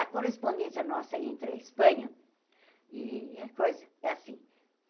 A correspondência nossa entre a Espanha e a coisa é assim.